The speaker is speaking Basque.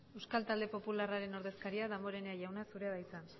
euskal talde popularraren ordezkaria damborenea jauna zurea da hitza